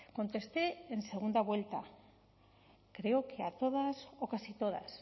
contesté en segunda vuelta creo que a todas o casi todas